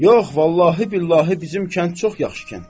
Yox, vallahi billahi bizim kənd çox yaxşı kənddir.